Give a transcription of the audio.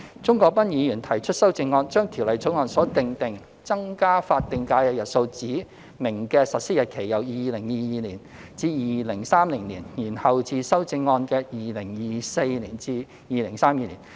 鍾國斌議員提出修正案，將《條例草案》所訂定增加法定假日日數指明的實施日期由2022年至2030年，延後至修正案建議的2024年至2032年。